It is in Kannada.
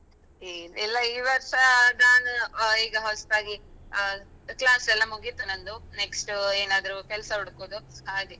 ಇಲ್ಲ ಈ ವರ್ಷ ನಾನು ಈಗ ಹೊಸ್ತಾಗಿ class ಎಲ್ಲ ಮುಗೀತು ನಂದು next ಏನಾದ್ರು ಕೆಲ್ಸ ಹುಡುಕುದು ಹಾಗೆ.